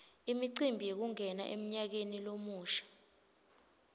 imicimbi yekungena emnyakeni lomusha